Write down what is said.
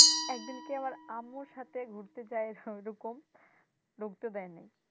একদিনকে আমার আম্মুর সাথে ঘুরতে যায়ে ওরকম ঢুকতে দায় নাই।